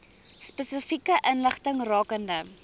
spesifieke inligting rakende